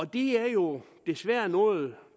det er jo desværre noget